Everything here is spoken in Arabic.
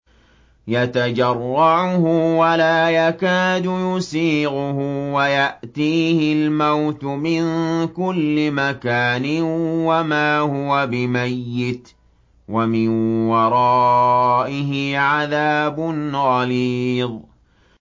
يَتَجَرَّعُهُ وَلَا يَكَادُ يُسِيغُهُ وَيَأْتِيهِ الْمَوْتُ مِن كُلِّ مَكَانٍ وَمَا هُوَ بِمَيِّتٍ ۖ وَمِن وَرَائِهِ عَذَابٌ غَلِيظٌ